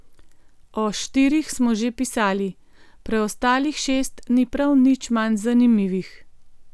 O štirih smo že pisali, preostalih šest ni prav nič manj zanimivih!